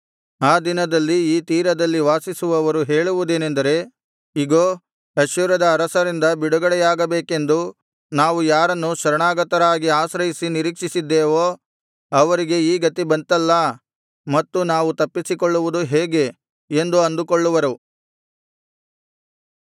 ಆ ದಿನದಲ್ಲಿ ಈ ತೀರದಲ್ಲಿ ವಾಸಿಸುವವರು ಹೇಳುವುದೇನೆಂದರೆ ಇಗೋ ಅಶ್ಶೂರದ ಅರಸರಿಂದ ಬಿಡುಗಡೆಯಾಗಬೇಕೆಂದು ನಾವು ಯಾರನ್ನು ಶರಣಾಗತರಾಗಿ ಆಶ್ರಯಿಸಿ ನಿರೀಕ್ಷಿಸಿದ್ದೆವೋ ಅವರಿಗೆ ಈ ಗತಿ ಬಂತಲ್ಲಾ ಮತ್ತು ನಾವು ತಪ್ಪಿಸಿಕೊಳ್ಳುವುದು ಹೇಗೆ ಎಂದು ಅಂದುಕೊಳ್ಳುವರು